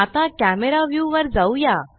आता camera view वर जाऊया